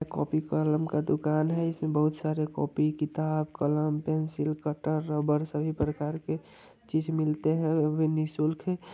Copy कलम का दुकान है। इसमें बहुत सारे कोपी किताब कलम पेंसिल कटर रबड़ सभी प्रकार के चीज मिलते हैं वे भी निःशुल्क ही ---